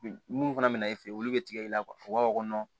Mun fana bɛna i fɛ olu bɛ tigɛ i la u b'a fɔ